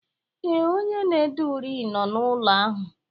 Ee, onye na-ede uri nọ n'ụlọ ahụ